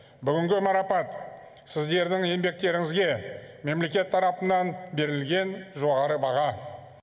бүгінгі марапат сіздердің еңбектеріңізге мемлекет тарапынан берілген жоғары баға